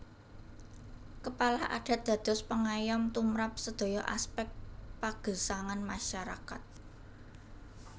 Kepala Adat dados pangayom tumrap sedaya aspek pagesangan masyarakat